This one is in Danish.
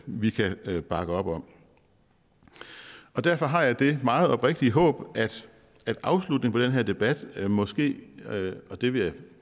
vi kan bakke op om derfor har jeg det meget oprigtige håb at afslutningen her debat måske og det vil jeg